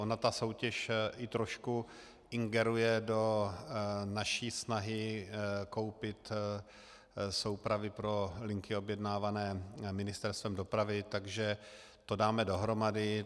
Ona ta soutěž i trošku ingeruje do naší snahy koupit soupravy pro linky objednávané Ministerstvem dopravy, takže to dáme dohromady.